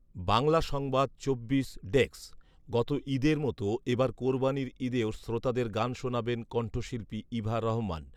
বাংলা সংবাদ চব্বিশ ডেক্স, গত ঈদের মতো এবার কোরবানির ঈদেও শ্রোতাদের গান শোনাবেন কণ্ঠশিল্পী ইভা রহমান